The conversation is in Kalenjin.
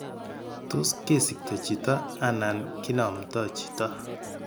Tot kesikto chito anan ki namnda chito